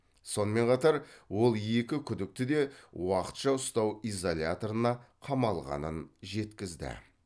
сонымен қатар ол екі күдікті де уақытша ұстау изоляторына қамалғанын жеткізді